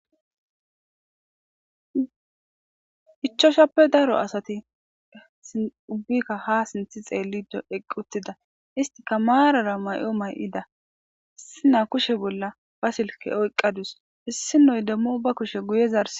ichchashappe daro asati ubbika ha sinththe xellidi eqqi uttida istika marara mayo mayidda issinya kushshen bolla ba silkke oyiqqadus isdinoy demmo ba kushshe guye zarsidi.